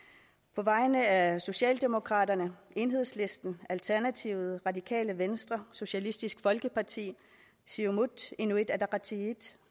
på vegne af socialdemokraterne enhedslisten alternativet radikale venstre socialistisk folkeparti siumut inuit ataqatigiit